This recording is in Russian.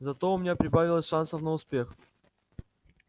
зато у меня прибавилось шансов на успех